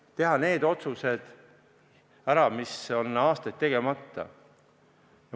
Tuleks teha need otsused ära, mis on aastaid tegemata.